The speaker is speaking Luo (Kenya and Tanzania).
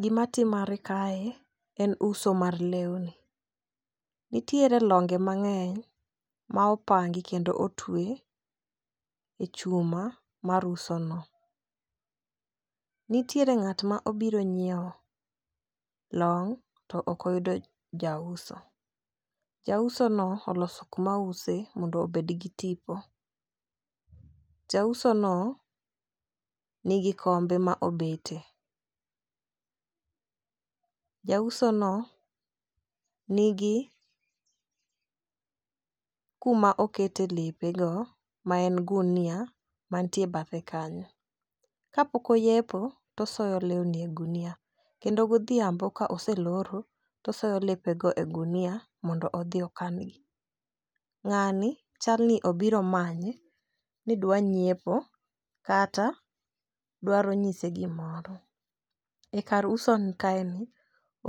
Gima timore kae en uso mar lewni. Nitiere longe mang'eny ma opangi, kendo otwe e chuma mar uso no. Nitiere ng'at ma obiro nyiewo long' to ok oyudo jauso. Jauso no, oloso kaka ouse mondo obed gi tipo. Jauso no nigi kombe ma obete. Jausono nigi kuma okete lepe go ma en gunia mantie bathe kanyo. Ka pok oyepo to osoyo lewni ei ogunia, kendo godhiambo, ka oseloro to osoyo lepe go e ogunia mondo odhi okangi. Ng'ani chalni obiro manye ni dwaro nyiepo, kata dwaro nyise gimoro. E kar uso kae ni